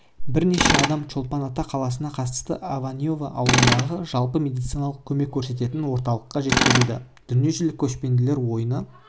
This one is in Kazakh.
бірнеше адам чолпан-ата қаласына қарасты ананьево ауылындағы жалпы медициналық көмек көрсететін орталыққа жеткізілді дүниежүзілік көшпенділер ойыны